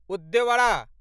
उद्यवरा